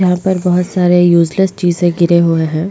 यहा पर बहुत सारे यूज़लेस चीजे गिरे हुए है।